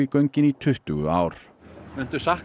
göngin í tuttugu ár